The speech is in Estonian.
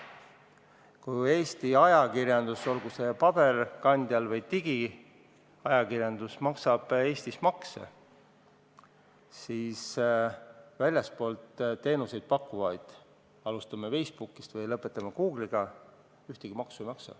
Kui Eesti ajakirjandus, olgu see paberkandjal või digiajakirjandus, maksab Eestis makse, siis väljastpoolt teenuseid pakkuvad – alustades näiteks Facebookist ja lõpetades Google'iga – ühtegi maksu ei maksa.